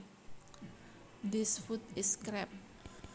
This food is crap